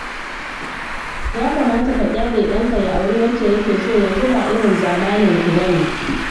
Ya kamata ka ƙyale ɗanka ya auri wacce yake so, yanzu ba irin zamaninku ba ne